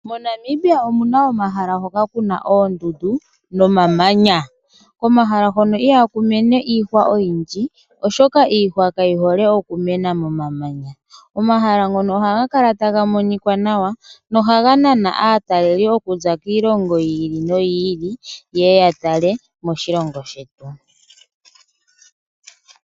Mo Namibia omuna omahala hoka kuna oondundu nomamanya. Komahala hono ihaku mene iihwa oyindji ,oshoka iihwa kayo hole oku mena momamanya. Omahala ngono ohaga kala taga monika nawa noha ga nana aatalelipo okuza kiilongo yi ili noyi ili yeye ya tale moshilongo shetu.